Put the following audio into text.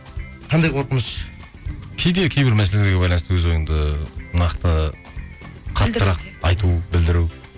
қандай қорқыныш кейде кейбір мәселерге байланысты өз ойыңды нақты қаттырақ айту білдіру